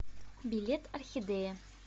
билет орхидея